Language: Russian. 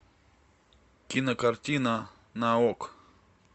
кинокартина на окко